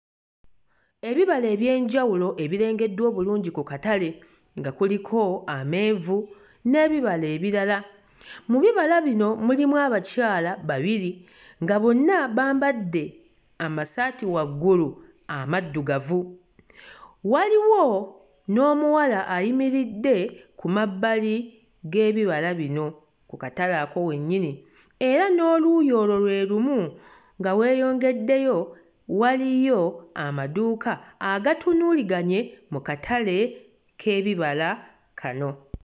Ebibala eby'enjawulo ebirengeddwa obulungi ku katale nga kuliko amenvu n'ebibala ebirala, mu bibala bino mulimu abakyala babiri nga bonna bambadde amasaati waggulu amaddugavu, waliwo n'omuwala ayimiridde ku mabbali g'ebibala bino ku katale ako wennyini era n'oluuyi olwo lwe lumu nga weeyongeddeyo waliyo amaduuka agatunuuliganye mu katale k'ebibala kano.